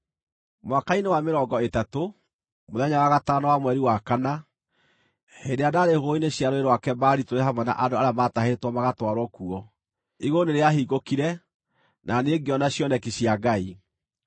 Mwaka-inĩ wa mĩrongo ĩtatũ, mũthenya wa gatano wa mweri wa kana, hĩndĩ ĩrĩa ndaarĩ hũgũrũrũ-inĩ cia Rũũĩ rwa Kebari tũrĩ hamwe na andũ arĩa maatahĩtwo magatwarwo kuo, igũrũ nĩrĩahingũkire, na niĩ ngĩona cioneki cia Ngai.